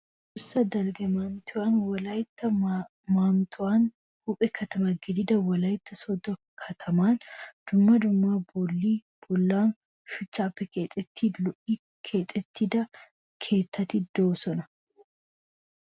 toohossa dalgga manttiyawunne wolayitta moottawu huuphe katama gididaa wolayitta sooddo katamaa. Dumma dumma bolli bollan shuchchaappe keexettidi lo'i keexettida keettati diyoosa.